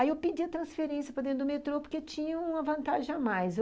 Aí eu pedia transferência para dentro do metrô porque tinha uma vantagem a mais.